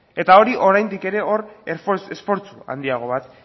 eta hori oraindik ere hor esfortzu handiago bat